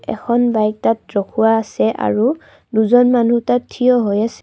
এখন বাইক তাত ৰখোৱা আছে আৰু দুজন মানুহ তাত থিয় হৈ আছ--